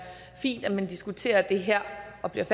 fint at man diskuterer det her og bliver